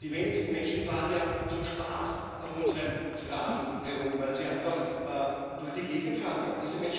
Die wenigsten Menschen fahren ja zum Spaß auf unseren Straßen herum, weil sie einfach durch die Gegend fahren wollen.